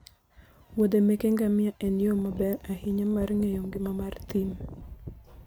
woudhe meke ngamia en yo maber ahinya mar ng'eyo ngima mar thim.